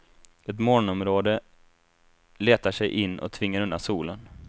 Ett molnområde letar sig in och tvingar undan solen.